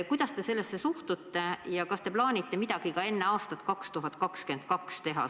Kuidas te sellesse suhtute ja kas te plaanite midagi teha ka enne 2022. aastat?